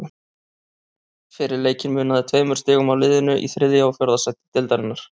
Fyrir leikinn munaði tveimur stigum á liðunum í þriðja og fjórða sæti deildarinnar.